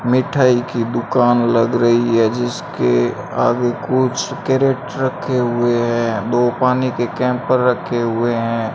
मिठाई की दुकान लग रही है जिसके आगे कुछ कैरेट रखे हुए हैं दो पानी के रखे हुए हैं।